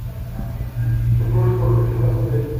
супружество хочу посмотреть